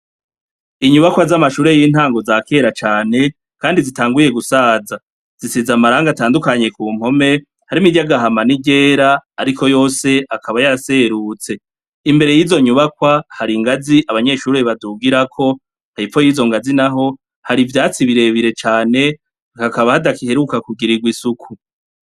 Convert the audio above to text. Inyubakwa z'amashure y'intango za kera cane, kandi zitanguye gusaza zisiza amaranga atandukanye ku mpome hari imiryagahama n'iryera, ariko yose akaba ya serutse imbere y'izo nyubakwa hari ingazi abanyeshuri badugirako hayipfo yizo ngazinaho hari ivyatsi birebire cane ikakaba adakiheruka kugirirwa isuku.